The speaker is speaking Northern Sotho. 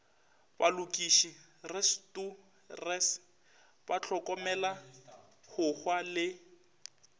balokiši restorers bahlokomela hohwa le